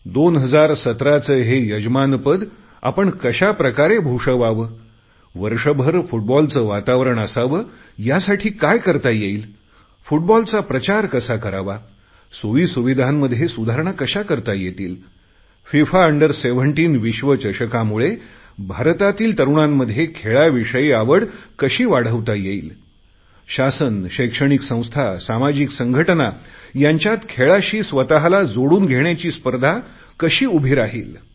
2017 चे हे यजमानपद आपण कशा प्रकारे भूषवतो वर्षभर फुटबॉलचे वातावरण असावे यासाठी काय करता येईल फुटबॉलचा प्रचार कसा करावा सोयीसुविधांमध्ये सुधारणा कशा करता येईल या विश्वचषकामुळे भारतातील तरुणांमध्ये खेळाविषयी आवड कशी वाढवता येईल शासन शैक्षणिक संस्था सामाजिक संघटना यांच्यात खेळाशी स्वतला जोडून घेण्याची स्पर्धा कशी उभी राहिल